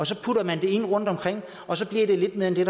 så putter man det ind rundtomkring og så bliver det lidt mere end det